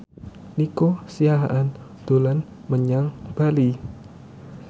Nico Siahaan dolan menyang Bali